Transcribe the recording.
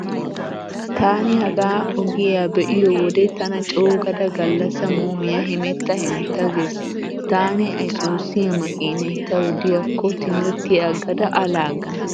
Taani hagaa ogiya be'iyo wode tana coogada gallasa muumiya hemetta hemetta gees. Taani isuuziya makiinay tawu diyaakko timirtiya aggada a laaggana.